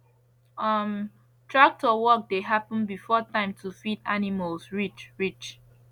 um tractor work dey happen before time to feed animals reach reach